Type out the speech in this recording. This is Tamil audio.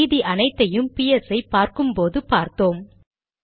மீதி அனைத்தையும் பிஎஸ் ஐ பார்க்கும் போதே பார்த்தோம்